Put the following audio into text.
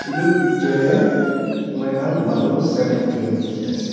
etu picture de moikhan manu seven jun dikhi ase.